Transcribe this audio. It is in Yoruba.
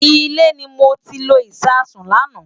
Ilé ni mo ti lo Ìṣasùn lánàá.